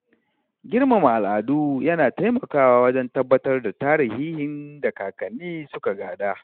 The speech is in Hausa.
Girmama al’adu yana taimakawa wajen tabbatar da tarihihin da kakanni suka gada.